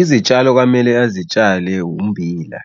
Izitshalo kwamele azitshale ummbila,